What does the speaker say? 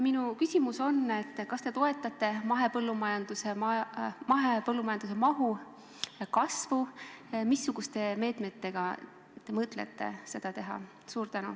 Minu küsimus on: kas te toetate mahepõllumajanduse mahu kasvu ja kui toetate, siis missuguste meetmetega te mõtlete seda teha?